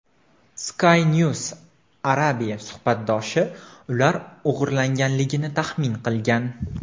Skynews Arabia suhbatdoshi ular o‘g‘irlanganligini taxmin qilgan.